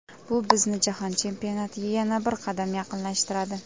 Bu bizni jahon chempionatiga yana bir qadam yaqinlashtiradi.